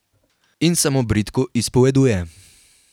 In se mu bridko izpoveduje.